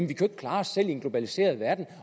kan klare os selv i en globaliseret verden